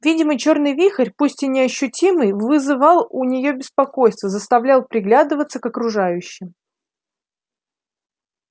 видимо чёрный вихрь пусть и неощутимый вызывал у неё беспокойство заставлял приглядываться к окружающим